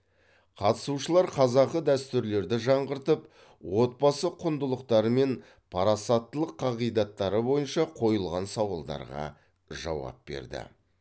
қатысушылар қазақы дәстүрлерді жаңғыртып отбасы құндылықтары мен парасаттылық қағидаттары бойынша қойылған сауалдарға жауап берді